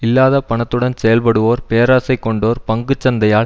இல்லாத பணத்துடன் செயல்படுவோர் பேராசை கொண்டோர் பங்கு சந்தையால்